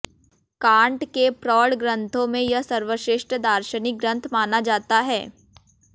can't के प्रौढ़ ग्रंथों में यह सर्वश्रेष्ठ दार्शनिक ग्रंथ माना जाता है